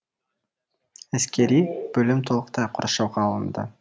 әскери бөлім толықтай қоршауға алынды